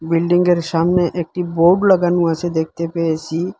বিল্ডিংগের সামনে একটি বোর্ড লাগানো আছে দেখতে পেয়েসি ।